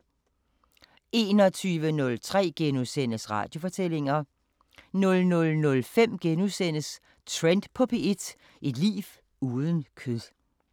21:03: Radiofortællinger * 00:05: Trend på P1: Et liv uden kød *